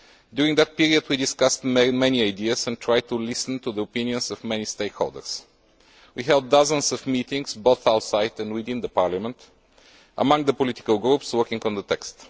During that period we discussed many ideas and tried to listen to the opinions of many stakeholders. We held dozens of meetings, both outside and within Parliament, between the political groups working on the text.